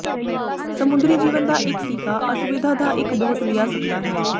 ਸਮੁੰਦਰੀ ਜੀਵਨ ਦਾ ਇੱਕ ਟੀਕਾ ਅਸੁਵਿਧਾ ਦਾ ਇੱਕ ਬਹੁਤ ਲਿਆ ਸਕਦਾ ਹੈ